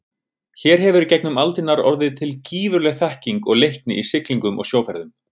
Hér hefur í gegnum aldirnar orðið til gífurleg þekking og leikni í siglingum og sjóferðum.